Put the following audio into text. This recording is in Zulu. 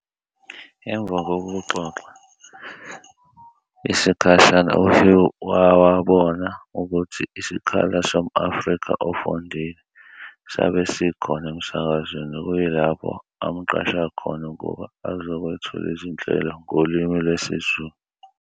Emva kokuxoxa isikhashana uHugh wawabona ukutji isikhala som-Afrika ofundile sabe sikhona emsakazweni okuyilapho amqasha khona ukuba azokwethula izinhlelo ngolimi lwesiZulu.